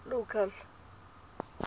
local